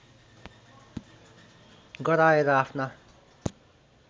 गराएर आफ्ना